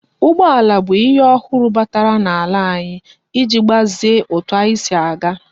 Ụgbọala bụ ihe ọhụrụ batara na ala anyi iji gbazie etu anyi si aga